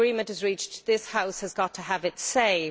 If agreement is reached, this House has got to have its say.